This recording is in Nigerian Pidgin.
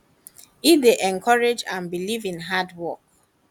e dey encourage and believe in hard work work